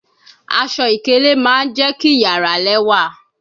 Aṣọ-ikele ma je ki yara lẹwa